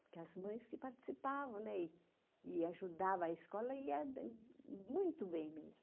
Porque as mães que participavam, né e e ajudava a escola e ia muito bem mesmo.